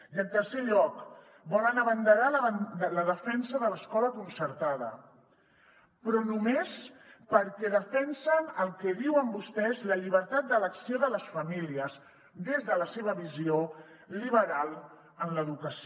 i en tercer lloc volen abanderar la defensa de l’escola concertada però només perquè defensen el que en diuen vostès la llibertat d’elecció de les famílies des de la seva visió liberal en l’educació